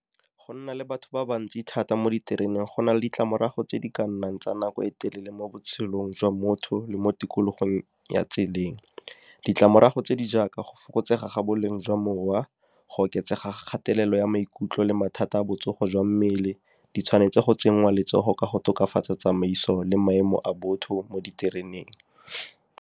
Go nna le batho ba le bantsi thata mo ditereneng go na le ditlamorago tse di ka nnang tsa nako e telele mo botshelong jwa motho le mo tikologong ya tseleng. Ditlamorago tse di jaaka go fokotsega ga boleng jwa mowa, go oketsega kgatelelo ya maikutlo le mathata a botsogo jwa mmele di tshwanetse go tsenngwa letsogo ka go tokafatsa tsamaiso le maemo a botho mo ditereneng.